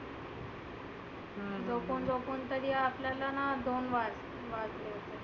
झोपुन झोपुन कधी आपल्यालाना दोन वाज वाजले होते.